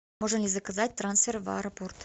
можно ли заказать трансфер в аэропорт